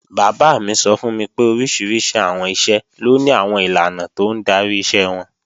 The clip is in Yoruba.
Bàbá mi sọ fún mi pé oríṣiríṣi àwọn iṣẹ́ ló ni àwọn ìlànà tó ń darí iṣẹ́ wọn